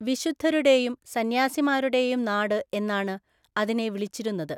വിശുദ്ധരുടെയും സന്യാസിമാരുടെയും നാട് എന്നാണ് അതിനെ വിളിച്ചിരുന്നത്.